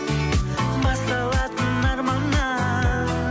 басталатын арманнан